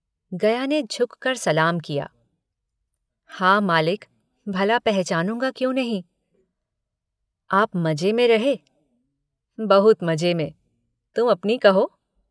गया ने झुककर सलाम किया, हाँ मालिक भला पहचानूंगा क्यों नहीं। आप मजे में रहे। बहुत मजे में। तुम अपनी कहो